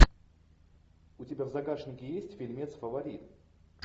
у тебя в загашнике есть фильмец фаворит